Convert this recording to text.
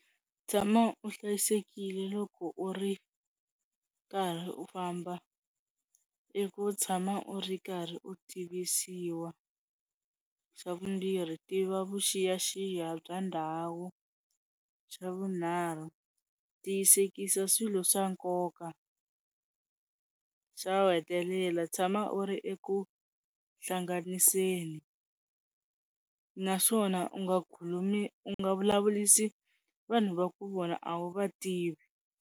Tshama u hlayisekile loko u ri karhi u famba, i ku tshama u ri karhi u tivisiwa. Xa vumbirhi tiva vuxiyaxiya bya ndhawu. Xa vunharhu tiyisekisa swilo swa nkoka. Xo ku hetelela tshama u ri eku hlanganiseni naswona u nga khulumi u nga vulavurisi vanhu va ku vona a wu va tivi.